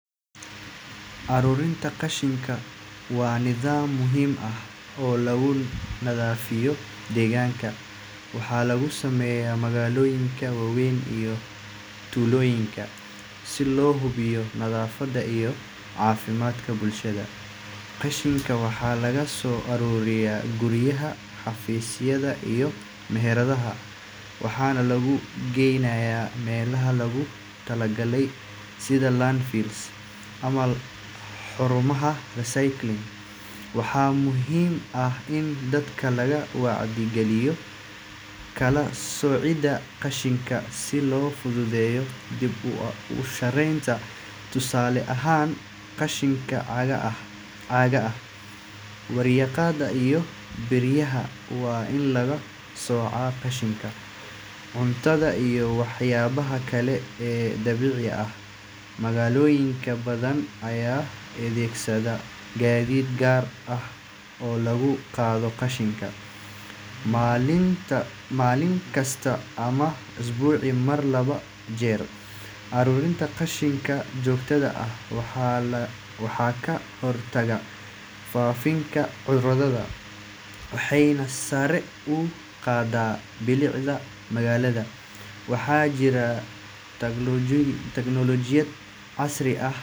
Ururinta qashinku waa nidaam muhiim ah oo lagu nadiifiyo deegaanka. Waxaa lagu sameeyaa magaalooyinka waaweyn iyo tuulooyinka si loo hubiyo nadaafadda iyo caafimaadka bulshada. Qashinka waxaa laga soo ururiyaa guryaha, xafiisyada, iyo meheradaha, waxaana lagu geynayaa meelaha loogu talagalay sida landfills ama xarumaha recycling. Waxaa muhiim ah in dadka laga wacyi geliyo kala soocidda qashinka, si loo fududeeyo dib-u-warshadaynta. Tusaale ahaan, qashinka caagga ah, warqadda, iyo biraha waa in laga soocaa qashinka cuntada iyo waxyaabaha kale ee dabiiciga ah. Magaalooyin badan ayaa adeegsada gaadiid gaar ah oo lagu qaado qashinka maalin kasta ama usbuucii mar laba jeer. Ururinta qashinka joogtada ah waxay ka hortagtaa faafitaanka cudurrada waxayna sare u qaaddaa bilicda magaalada. Waxaa jira teknoolojiyad casri ah.